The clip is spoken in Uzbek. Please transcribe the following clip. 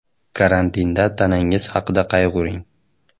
Karantinda tanangiz haqida qayg‘uring.